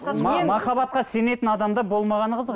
мен махаббатқа сенетін адамда болмағаны қызық